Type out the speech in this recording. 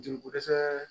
Joliko dɛsɛ